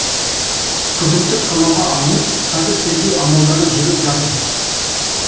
күдікті қамауға алынып қазір тергеу амалдары жүріп жатыр